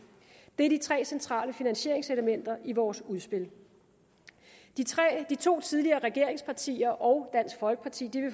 det er de tre centrale finansieringselementer i vores udspil de to tidligere regeringspartier og dansk folkeparti